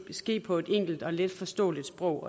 ske på et enkelt og letforståeligt sprog